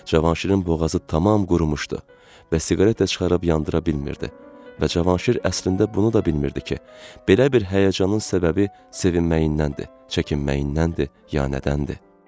Cavanşirin boğazı tamam qurumuşdu və siqaret də çıxarıb yandıra bilmirdi və Cavanşir əslində bunu da bilmirdi ki, belə bir həyəcanın səbəbi sevinməyindəndir, çəkinməyindəndir, yəni nədəndir?